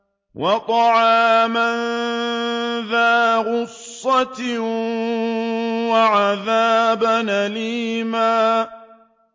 وَطَعَامًا ذَا غُصَّةٍ وَعَذَابًا أَلِيمًا